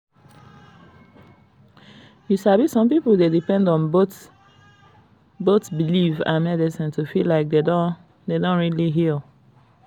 you sabi some pipo dey depend on both belief and medicine to feel like dem don really heal.